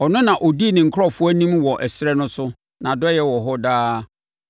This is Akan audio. Ɔno na ɔdii ne nkurɔfoɔ anim wɔ ɛserɛ no so. Nʼadɔeɛ wɔ hɔ daa.